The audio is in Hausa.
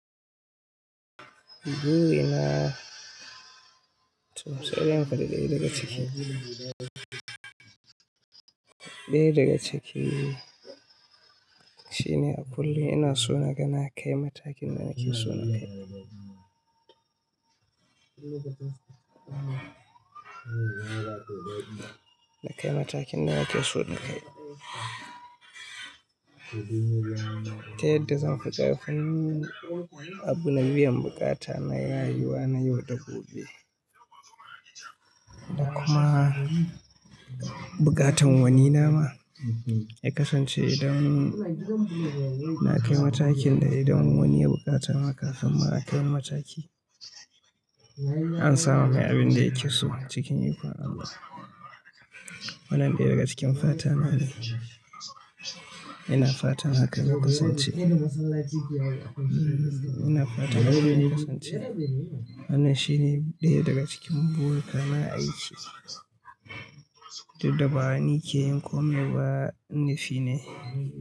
Toh sai in faɗi ɗaya daga cikin. Ɗaya daga ciki shi ne a kullum ina so na ga na kai matakin da nake so na kai. Na kai matakin da nake so na kai. Ta yadda zan fi ƙarfin abu na biyan buƙata na rayuwa na yau da gobe. Da kuma buƙatar wani nawa ya kasance idan na kai matakin da idan wani yana da buƙata haka, sannan nakai wani mataki. A samo mai abin da yake so cikin ikon Allah. Wannan ɗaya daga cikin fata na ne. Ina fatan hakan ya kasance. Ina fata hakan ya kasance. Wannan shi ne ɗaya daga cikin burika na a aiki, dukda ba ni ke yin komai ba, nufine.